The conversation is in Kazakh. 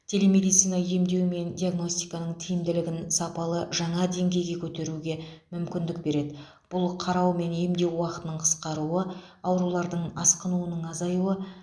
телемедицина емдеу мен диагностиканың тиімділігін сапалы жаңа деңгейге көтеруге мүмкіндік береді бұл қарау мен емдеу уақытының қысқаруы аурулардың асқынуының азаюы